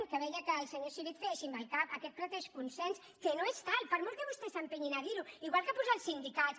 que veia que el senyor civit feia així amb el cap aquest pretès consens que no és tal per molt que vostès s’entestin a dir ho igual que posar els sindicats